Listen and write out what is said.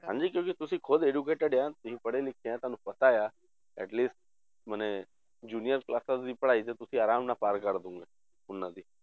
ਹਾਂਜੀ ਕਿਉਂਕਿ ਤੁਸੀਂ ਖੁੱਦ educated ਆ ਤੁਸੀਂ ਪੜ੍ਹੇ ਲਿਖੇ ਆ ਤੁਹਾਨੂੰ ਪਤਾ ਆ atleast ਮਨੇ junior classes ਤੁਸੀਂ ਪੜ੍ਹਾਈ ਤੇ ਤੁਸੀਂ ਆਰਾਮ ਨਾਲ ਪਾਰ ਕਰ ਦੇਵੋਂਗੇ, ਉਹਨਾਂ ਦੀ